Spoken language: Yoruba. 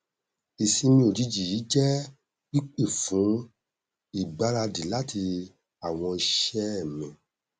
ìsinmi ojìjì yìí jẹ pípé fún ìgbaradì láti àwọn iṣẹ mi